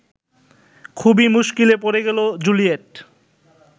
খুবই মুশকিলে পড়ে গেল জুলিয়েট